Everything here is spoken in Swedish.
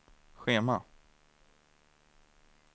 schema